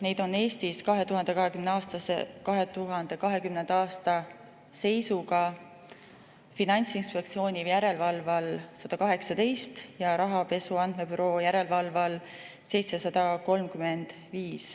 Neid teenusepakkujaid oli Eestis 2020. aasta seisuga Finantsinspektsiooni järelevalve all 118 ja Rahapesu Andmebüroo järelevalve all 735.